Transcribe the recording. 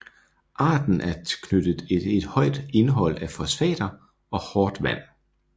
Arten er knyttet til et højt indhold af fosfater og hårdt vand